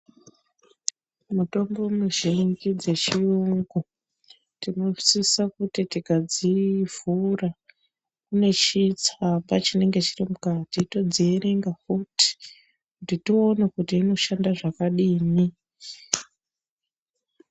Mutombo muzhinji dzechiyungu tinosisa kuti tikadzivhura mune chitsamba chinenge chiri mukati todzierenga kuti kuti tioone kuti inoshanda zvakadini.